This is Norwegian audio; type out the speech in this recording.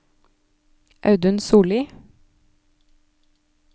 Audun Sollie